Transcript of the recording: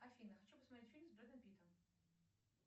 афина хочу посмотреть фильм с бредом питтом